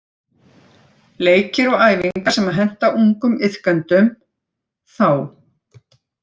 Leikir og æfingar sem henta ungum iðkendum- ÞÁ